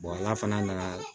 ala fana nana